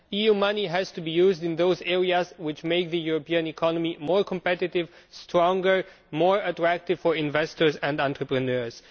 EU money has to be used in those areas which make the European economy more competitive, stronger, and more attractive for investors and entrepreneurs.